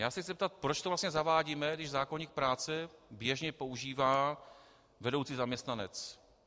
Já se chci zeptat, proč to vlastně zavádíme, když zákoník práce běžně používá "vedoucí zaměstnanec".